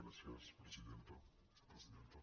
gràcies presidenta vicepresidenta